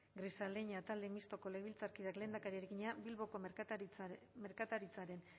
grisaleña talde mistoko legebiltzarkideak lehendakariari egina bilboko merkataritzaren